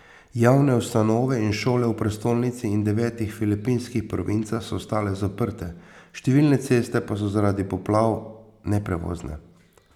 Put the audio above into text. Javne ustanove in šole v prestolnici in devetih filipinskih provincah so ostale zaprte, številne ceste pa so zaradi poplav neprevozne.